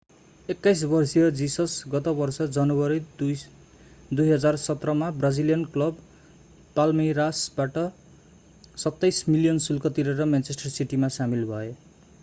21 वर्षीय जिसस गत वर्ष जनवरी 2017 मा ब्राजिलियन क्लब पाल्मेइरासबाट £27 मिलियन शुल्क तिरेर म्यानचेस्टर सिटीमा सामेल भए